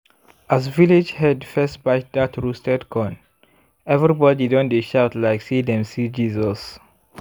as village head first bite dat roasted corn everybody don dey shout like say dem see jesus.